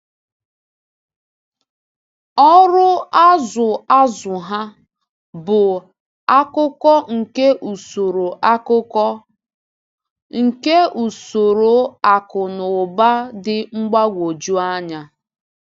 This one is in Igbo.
Ọrụ azụ-azụ ha bụ akụkụ nke usoro akụkụ nke usoro akụ na ụba dị mgbagwoju anya.